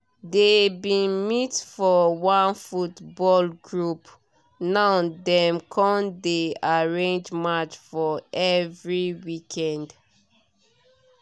dey bin meet for one football group now dem con dey arrange match for every weekend